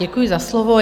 Děkuji za slovo.